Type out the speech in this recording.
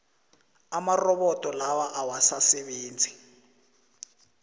amarobodo lawa awasasebenzi